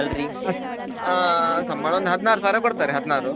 ಹಾ ಸಂಬಳ ಒಂದು ಹದ್ನಾರು ಸಾವಿರ ಕೊಡ್ತಾರೆ ಹದ್ನಾರು.